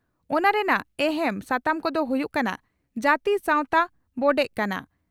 ᱚᱱᱟ ᱨᱮᱱᱟᱜ ᱮᱦᱮᱢ ᱥᱟᱛᱟᱢ ᱠᱚᱫᱚ ᱦᱩᱭᱩᱜ ᱠᱟᱱᱟ ᱺ ᱡᱟᱹᱛᱤ ᱥᱟᱣᱛᱟ ᱵᱚᱰᱮᱜ ᱠᱟᱱᱟ